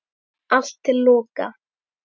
Allt til loka.